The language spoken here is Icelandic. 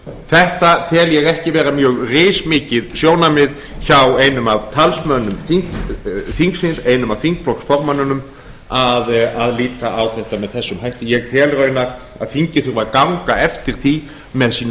þetta tel ég ekki vera mjög rismikið sjónarmið hjá einum af talsmönnum þingsins einum af þingflokksformönnunum að líta á þetta með þessum hætti ég tel raunar að þingið þurfi að ganga eftir því með sínum